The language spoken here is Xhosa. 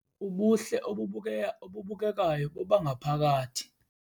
Ubuhle obubukekayo bobangaphakathi.